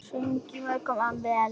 Söng hún mjög vel.